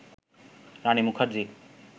Rani Mukherjee